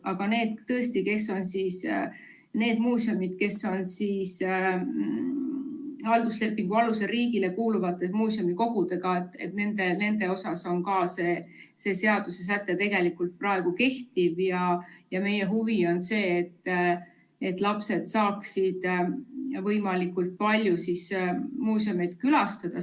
Aga tõesti need muuseumid, mis on halduslepingu alusel riigile kuuluvate muuseumikogudega, nende suhtes ka see seadusesäte tegelikult praegu kehtib, ja meie huvi on see, et lapsed saaksid võimalikult palju muuseume külastada.